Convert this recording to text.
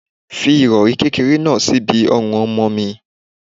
Fi irori kékeré náà síbi ọrùn ọmọ mi.